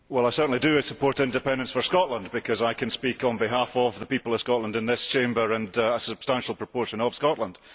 I certainly do support independence for Scotland because I can speak on behalf of the people of Scotland in this Chamber and a substantial proportion of Scotland.